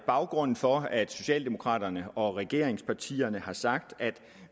baggrunden for at socialdemokraterne og regeringspartierne har sagt at